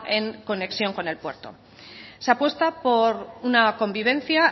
en conexión con el puerto se apuesta por una convivencia